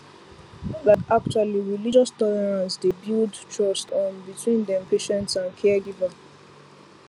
like actually religious tolerance dey builds trust um between dem patients and caregivers